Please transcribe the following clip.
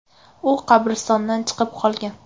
U qabristondan chiqib qolgan.